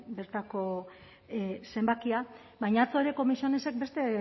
bertako zenbakia baina atzo ere comisionesek beste